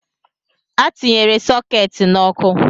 A tinyere sokeeti n’ọkụ